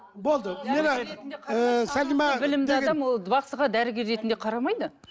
болды білімді адам ол бақсыға дәрігер ретінде қарамайды